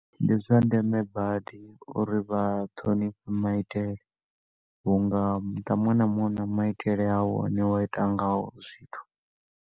Ndi zwa ndeme badi uri vha ṱhonifhe maitele, unga muṱa munwe na munwe u na maitele awo o ne wa ita ngawo zwithu.